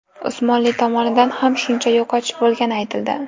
Usmonli tomonidan ham shuncha yo‘qotish bo‘lgani aytildi.